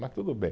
Mas tudo bem.